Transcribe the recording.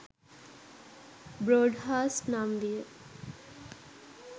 Broadhurst නම් විය.